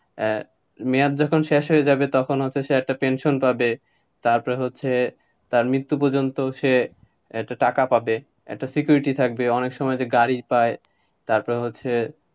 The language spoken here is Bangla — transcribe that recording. আহ মেয়াদ যখন শেষ হয়ে যাবে তখন হচ্ছে সে একটা pension পাবে, তারপরে হচ্ছে, তার মৃত্যু পর্যন্ত সে, একটা টাকা পাবে, একটা security থাকবে, অনেক সময় যে গাড়ি পায়,